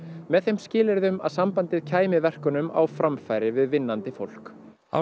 með þeim skilyrðum að sambandið kæmi verkunum á framfæri við vinnandi fólk árið